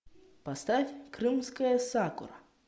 поставь крымская сакура